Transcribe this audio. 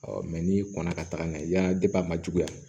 n'i kɔnna ka taga n'a ye yani a man juguya